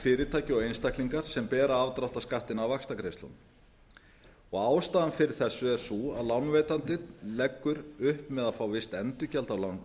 fyrirtæki og einstaklingar sem bera afdráttarskattinn af vaxtagreiðslunum ástæðan fyrir þessu er sú að lánveitandinn leggur upp með að fá visst endurgjald